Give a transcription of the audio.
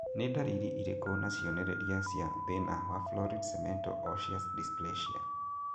Nĩ ndariri irĩkũ na cionereria cia thĩna wa Florid cemento osseous dysplasia?